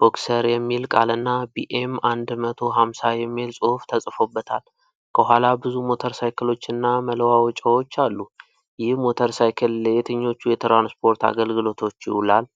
'ቦክሰር' የሚል ቃልና 'ቢኤም አንድ መቶ ሃምሳ' የሚል ጽሁፍ ተጽፎበታል። ከኋላ ብዙ ሞተርሳይክሎችና መለዋወጫዎች አሉ። ይህ ሞተርሳይክል ለየትኞቹ የትራንስፖርት አገልግሎቶች ይውላል?